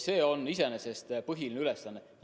See on iseenesest põhiline ülesanne.